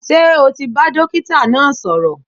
Ṣé o ti bá dókítà náà sọ̀rọ̀?